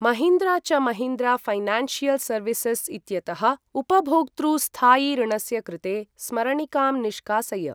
महीन्द्रा च Mahindra financial services इत्यतः उपभोक्तृ स्थायि ऋणस्य कृते स्मरणिकां निष्कासय।